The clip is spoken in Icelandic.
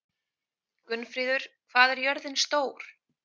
Gunnfríður, hvað er jörðin stór?